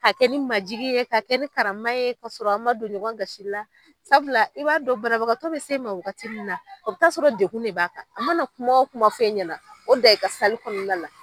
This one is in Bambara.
A kɛ ne majigin ye, ka kɛ ni karama ye, k'a sɔrɔ a ma don ɲɔgɔn gasi la, sabula i b'a dɔn banabagatɔ bɛ se i ma wagati min na, o bi taa sɔrɔ degun de b'a kan, a mana kuma o kuma fɔ e ɲɛna, o dan i ka kɔnɔna la